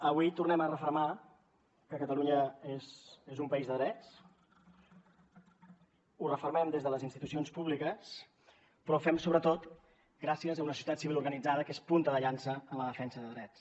avui tornem a refermar que catalunya és un país de drets ho refermen des de les institucions públiques però ho fem sobretot gràcies a una societat civil organitzada que és punta de llança en la defensa de drets